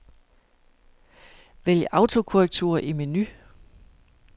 Vælg autokorrektur i menu.